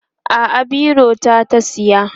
a'a biro ta ta tsaya